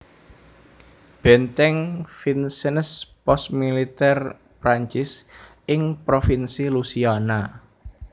Benteng Vincennes pos militèr Prancis ing provinsi Louisiana